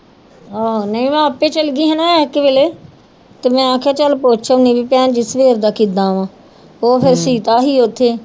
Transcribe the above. ਆਹੋ ਨਹੀਂ ਮੈ ਆਪੇ ਚਲੇ ਗਈ ਸੀ ਨਾ ਤੇ ਮੈਂ ਕਿਹਾ ਚੱਲ ਪੁੱਛ ਆਉਨੀ ਵੀ ਭੈਣ ਜੀ ਸਵੇਰ ਦਾ ਕਿੱਦਾਂ ਵਾ ਉਹ ਫਿਰ ਸੀਤਾ ਸੀ ਉੱਥੇ